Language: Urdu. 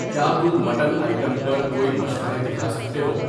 کیا تم مٹن آئٹم پر کوئی مشورے دکھا سکتے ہو؟